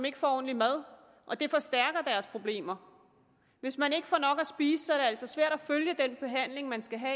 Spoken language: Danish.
ikke får ordentlig mad og det forstærker deres problemer hvis man ikke får nok at spise er det altså svært at følge den behandling man skal have